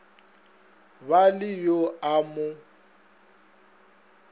ba le yo a mo